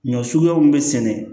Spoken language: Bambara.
Ɲɔ suguya mun be sɛnɛ